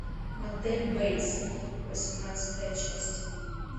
мотель бейтсов восемнадцатая часть